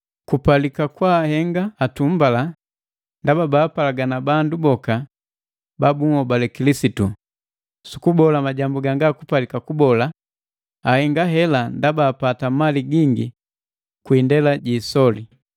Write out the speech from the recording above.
Kupalika kwaahenga atumbala ndaba baapalagana bandu boka ba bunhobale Kilisitu, sukubola majambu ganga kupalika kubola ahenga hela ndaba apata mali gingi kwi indela ji isoli.